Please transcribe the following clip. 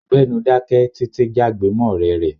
Gbẹ́nu dáké! Títi jágbe mọ́ ọ̀rẹ́ rẹ̀.